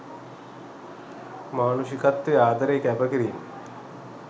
මානුෂිකත්වය ආදරය කැප කිරීම්